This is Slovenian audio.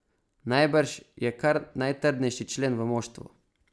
Najbrž je kar najtrdnejši člen v moštvu.